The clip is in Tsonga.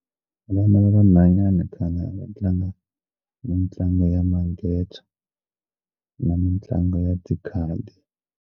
Vana va vanhwanyana khale a va tlanga mitlangu ya manghezi na mitlangu ya .